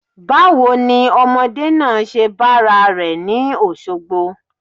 Báwo ni ọmọdé náà ṣe bára rẹ̀ ni Òṣogbo?